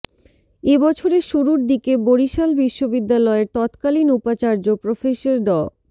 এ বছরের শুরুর দিকে বরিশাল বিশ্ববিদ্যালয়ের তৎকালীন উপাচার্য প্রফেসর ড